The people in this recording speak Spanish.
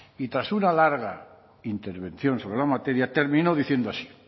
y tras una larga intervención sobre la materia terminó diciendo así